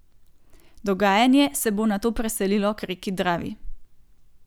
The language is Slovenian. Dogajanje se bo nato preselilo k reki Dravi.